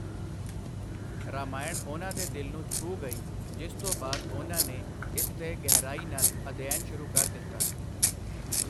ਰਾਮਾਇਣ ਉਨ੍ਹਾਂ ਦੇ ਦਿਲ ਨੂੰ ਛੂਹ ਗਈ, ਜਿਸ ਤੋਂ ਬਾਅਦ ਉਨ੍ਹਾਂ ਨੇ ਇਸ ਤੇ ਗਹਿਰਾਈ ਨਾਲ ਅਧਿਐਨ ਸ਼ੁਰੂ ਕਰ ਦਿੱਤਾ।